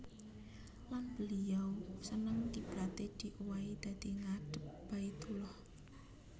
Lan beliau seneng kiblaté diowahi dadi ngadhep Baitullah